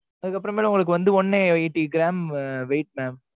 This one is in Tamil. அதுக்கப்புறமேல், உங்களுக்கு வந்து, one a eighty gram weight mam